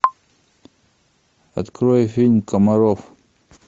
открой фильм комаров